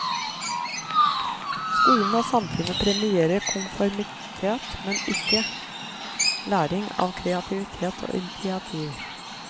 Skolen og samfunnet premierer konformitet, men ikke læring av kreativitet og initiativ.